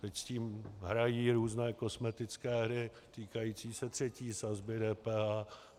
Teď s tím hrají různé kosmetické hry týkající se třetí sazby DPH.